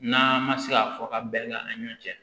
N'a ma se ka fɔ ka bɛn ani ɲɔɔn cɛ